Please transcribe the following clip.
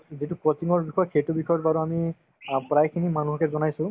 যিটো coaching ৰ বিষয় সেইটো বিষয়ত বাৰু আমি অ প্ৰায়খিনি মানুহকে জনাইছো